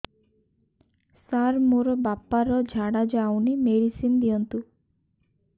ସାର ମୋର ବାପା ର ଝାଡା ଯାଉନି ମେଡିସିନ ଦିଅନ୍ତୁ